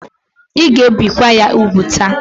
Ị ga ebi kwa ya úgwù ta!